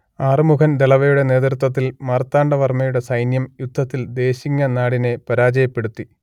ആറുമുഖൻ ദളവയുടെ നേതൃത്വത്തിൽ മാർത്താണ്ഡവർമ്മയുടെ സൈന്യം യുദ്ധത്തിൽ ദേശിങ്ങനാടിനെ പരാജയപ്പെടുത്തി